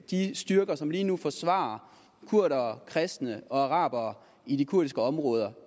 de styrker som lige nu forsvarer kurdere kristne og arabere i de kurdiske områder